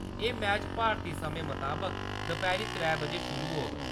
एह् मैच भारती समें मताबक दपैह्‌री त्रै बजे शुरू होग।